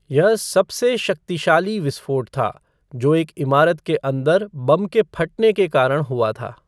यह सबसे शक्तिशाली विस्फोट था, जो एक इमारत के अंदर बम के फटने के कारण हुआ था।